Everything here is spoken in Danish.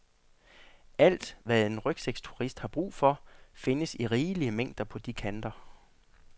Alt, hvad en rygsækturist har brug for, findes i rigelige mængder på de kanter.